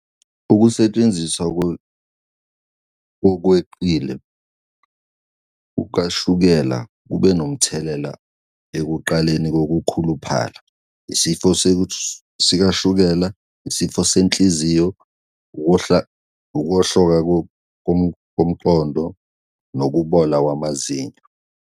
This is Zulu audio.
Ukusetshenziswa ngokweqile kukashukela kube nomthelela ekuqaleni kokukhuluphala, isifo sikashukela, isifo senhliziyo, ukuwohloka komqondo, nokubola kwamazinyo.